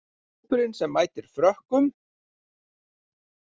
Hópurinn sem mætir Frökkum